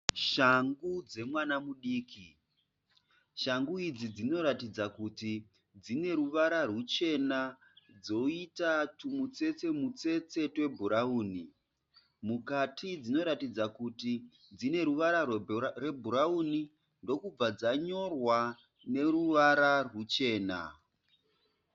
Shangu dzemwana mudiki. Shangu idzi dzinoratidza kuti dzineruvara ruchena dzoita tumutsetse mutsetse twe bhurawuni. Mukati dzinoratidza kuti dzineruvara rwebhurauni ndokubva dzanyorwa neruvara rwuchena.